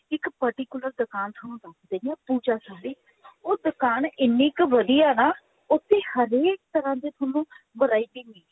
ਇੱਕ particular ਦੁਕਾਨ ਤੁਹਾਨੂੰ ਦੱਸ ਦਿੰਦੀ ਹਾਂ ਪੂਜਾ ਸਾੜੀ ਉਹ ਦੁਕਾਨ ਇਹਨੀ ਕਿ ਵਧੀਆ ਹੈ ਨਾ ਉੱਥੇ ਹਰੇਕ ਤਰ੍ਹਾਂ ਦੀ ਤੁਹਾਨੂੰ variety ਮਿਲ ਜੁਗੀ